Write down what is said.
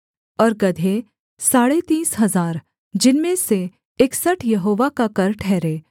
और गदहे साढ़े तीस हजार जिनमें से इकसठ यहोवा का कर ठहरे